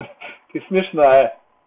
ты смешная